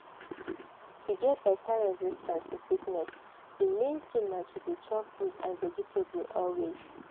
to get beta resistance to sickness di main thing na to dey chop fruit and vegetable always.